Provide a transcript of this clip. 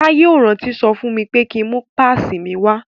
Táyé ò rántí sọ fún mi pé ki ń mú pásìì mi wá.